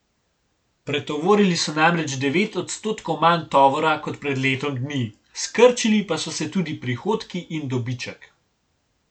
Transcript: Pretovorili so namreč devet odstotkov manj tovora kot pred letom dni, skrčili pa so se tudi prihodki in dobiček.